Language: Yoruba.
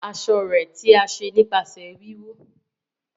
aṣọ rẹ̀ tí a ṣe nípasẹ wíwú.